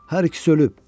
Hər ikisi ölüb.